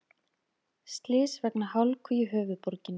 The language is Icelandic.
Slys vegna hálku í höfuðborginni